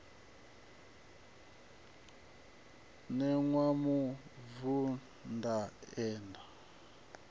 ṋewa mubvann ḓa ane a